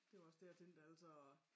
Det var også det jeg tænkte altså